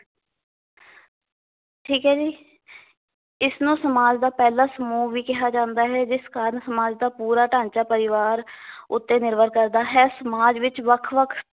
ਠੀਕ ਏ ਜੀ ਇਸਨੂੰ ਸਮਾਜ ਦਾ ਪਹਿਲਾਂ ਸਮੂਹ ਵੀ ਕਿਹਾ ਜਾਂਦਾ ਹੈ ਜਿਸ ਕਾਰਨ ਸਮਾਜ ਦਾ ਪੂਰਾ ਢਾਂਚਾ ਪਰਿਵਾਰ ਉੱਤੇ ਨਿਰਭਰ ਕਰਦਾ ਹੈ ਸਮਾਜ ਵਿਚ ਵੱਖ-ਵੱਖ